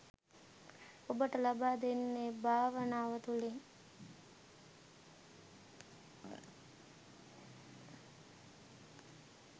ඔබට ලබා දෙන්නේ භාවනාව තුළින්.